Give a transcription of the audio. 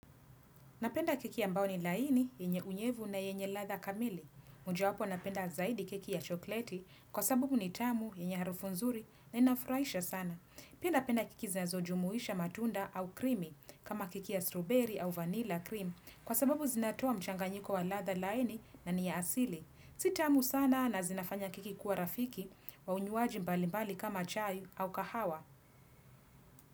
Napenda keki ambao ni laini, yenye unyevu na yenye ladha kamili. Mojawapo napenda zaidi keki ya chokleti kwa sababu ni tamu, yenye harufu nzuri na inafraisha sana. Pia napenda keki znazojumuisha matunda au krimi kama keki ya strawberry au vanilla cream kwa sababu zinatoa mchanganyiko wa ladha laini na ni ya asili. Si tamu sana na zinafanya krki kuwa rafiki wa unywaji mbalimbali kama chai au kahawa.